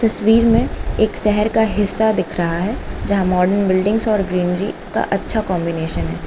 तस्वीर में एक शहर का हिस्सा दिख रहा है जहां मॉडर्न बिल्डिंग्स और ग्रीनरी का अच्छा कंबीनेशन है।